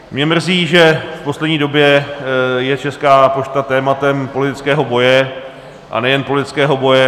Mě mrzí, že v poslední době je Česká pošta tématem politického boje, a nejen politického boje.